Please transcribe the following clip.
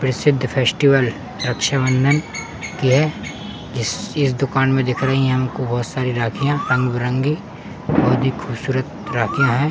प्रसिद्द फेस्टिवल रक्षाबंधन की है। इस दुकान में दिख रही हैं बहोत सारी राखियाँ। रंग-बिरंगी बहोत ही खूबसूरत राखियाँ हैं।